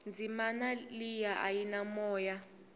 dzimana leyia a yi na moya